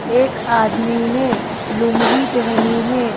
एक आदमी ने लूंगी पहनी है।